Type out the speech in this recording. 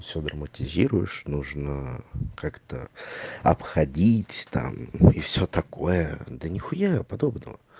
всё драматизируешь нужно как-то обходить там и всё такое да нихуя подобного